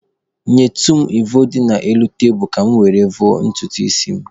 Nyetụ m mvọ dị n'elu tebulu ka mụ were vọọ ntutu isi m